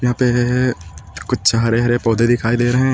यहां पे है है कुछ हरे-हरे पौधे दिखाई दे रहे हैं।